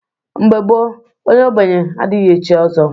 Mgbe gboo onye ogbenye adighi echi ọzọ.